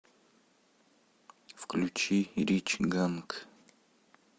включи рич ганг